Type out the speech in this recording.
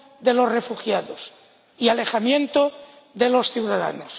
de los refugiados y alejamiento de los ciudadanos.